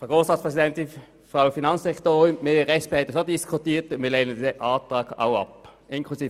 Vor etwa zehn Jahren wurde bereits einmal diskutiert, ob man etwas ändern will.